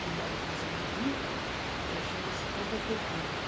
que mora em casa de rico, aí chama-se compra tempero.